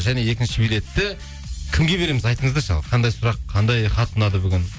және екінші билетті кімге береміз айтыңыздаршы ал қандай сұрақ қандай хат ұнады бүгін